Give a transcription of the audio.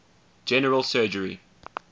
general surgery